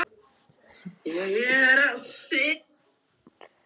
Viðskiptabréf hafa þýðingu sem skilríki gegn skuldaranum.